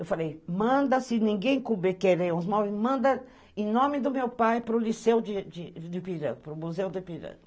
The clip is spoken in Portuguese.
Eu falei, manda, se ninguém querer os móveis, manda em nome do meu pai para o liceu do Ipiranga, para o Museu do Ipiranga.